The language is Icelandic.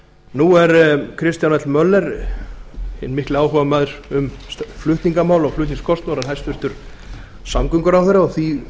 nú er kristján l möller hinn mikli áhugamaður um flutningamál og flutningskostnað orðinn samgönguráðherra og því